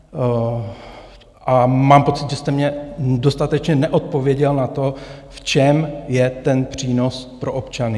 A mám pocit, že jste mně dostatečně neodpověděl na to, v čem je ten přínos pro občany.